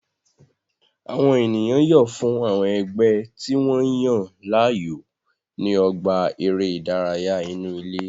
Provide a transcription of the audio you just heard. Àwọn ènìyàn yọ̀ fún àwọn ẹgbẹ́ tí wọ́n yàn láàyò ní ọgbà eré ìdárayá inú ilé